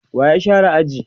wa ya share aji?